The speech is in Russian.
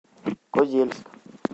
козельск